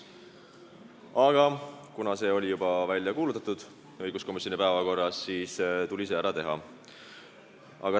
Aga kuna see oli juba õiguskomisjoni päevakorras välja kuulutatud, siis tuli see ära teha.